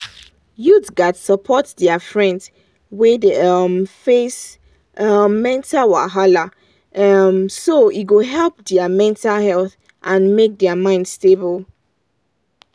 youth gats support their friends wey dey um face um mental wahala um so e go help their mental health and make their mind stable.